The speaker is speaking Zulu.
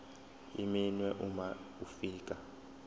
iminwe uma ufika